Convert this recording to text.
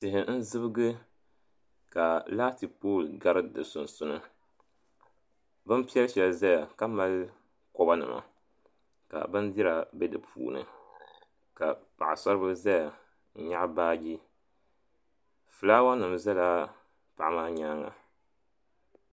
Tihi n zibgi ka laati pooli gari di sunsuuni binpiɛl shɛli zaya ka mali koba nima ka bindira be di puuni ka paɣasaribila zaya n nyaɣi baagi filaawa nima zala paɣa maa nyaanga.